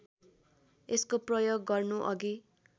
यसको प्रयोग गर्नुअघि